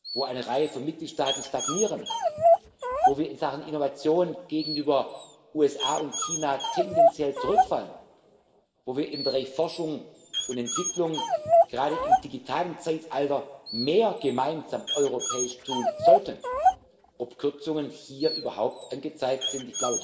haben, wo eine Reihe von Mitgliedstaaten stagnieren, wo wir in Sachen Innovation gegenüber den USA und China tendenziell zurückfallen, wo wir im Bereich Forschung und Entwicklung gerade im digitalen Zeitalter mehr gemeinsam europäisch tun sollten, Kürzungen überhaupt angezeigt